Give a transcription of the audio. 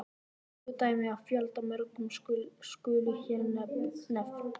Tvö dæmi af fjöldamörgum skulu hér nefnd.